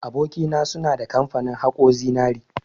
Aboki na, suna da kamfani haƙo zinari.